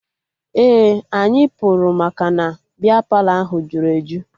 Ee, anyị pụrụ maka na bịa Palọ ahụ jụrụ eju